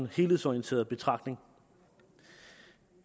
helhedsorienteret betragtning